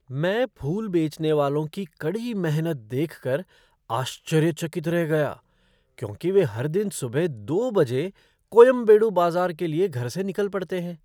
मैं फूल बेचने वालों की कड़ी मेहनत देक कर आश्चर्य चकित रह गया क्योंकि वे हर दिन सुबह दो बजे कोयम्बेडु बाजार के लिए घर से निकल पड़ते हैं।